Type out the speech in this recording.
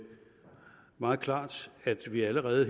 meget klart at vi allerede